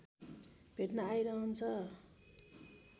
भेट्न आइरहन्छ